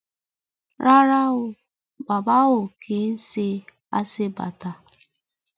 Rárá o, Bàbá ò kí ń ṣe aṣebàtà